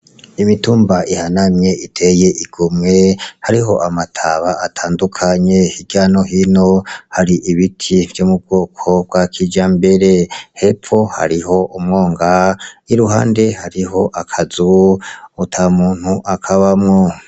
Imitumba yanamye iteye igomwe, hariho amataba atandukanye hirya no hino, hari ibiti vyo mu bwoko bwa kijambere. Hepfo hariho umwonga, iruhande hariho akazu ata muntu akabamwo.